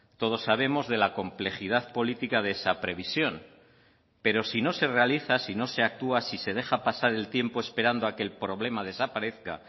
todos sabemos de la complejidad política de esa previsión pero si no se realiza si no se actúa si se deja pasar el tiempo esperando a que el problema desaparezca